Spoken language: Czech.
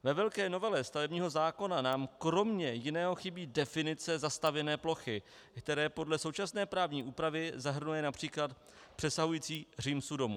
Ve velké novele stavebního zákona nám kromě jiného chybí definice zastavěné plochy, které podle současné právní úpravy zahrnuje například přesahující římsu domu.